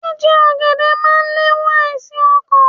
Jíje ọ̀gẹ̀dẹ̀ máa le è wo àìsàn okàn